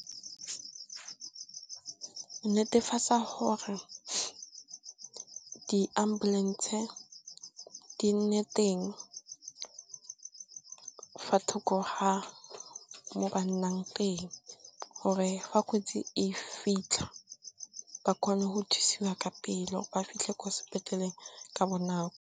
Netefatsa hore di ambulance di nne teng fa thoko ga mo ba nnang teng, gore fa kotsi e fitlha ba kgone go thusiwa ka pele ba fitlhe kwa sepetlele ka bonako.